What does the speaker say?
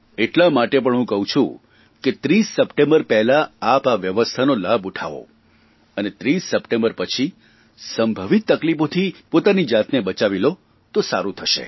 એટલા માટે પણ હું કહું છું કે 30 સપ્ટેમ્બર પહેલાં આપ આ વ્યવસ્થાનો લાભ ઉઠાવો અને 30 સપ્ટેમ્બર પછી સંભવિત તકલીફોથી પોતાની જાતને બચાવી લો તો સારૂં થશે